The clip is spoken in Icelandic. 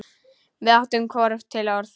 Við áttum hvorugt til orð.